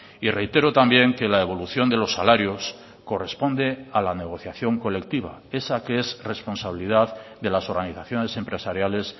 y reitero también que la evolución de los salarios corresponde a la negociación colectiva esa que es responsabilidad de las organizaciones empresariales